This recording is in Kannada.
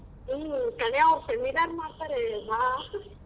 ಹ್ಮ್ ಕಣೆ ಅವ್ರು seminar ಮಾಡ್ತರೆ ಬಾ .